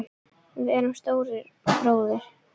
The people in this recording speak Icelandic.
Við erum Stóri bróðir!